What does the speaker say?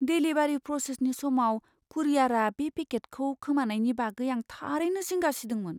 Delivery प्रसेसनि समाव कुरियारआ बे पेकेटखौ खोमानायनि बागै आं थारैनो जिंगा सिदोंमोन।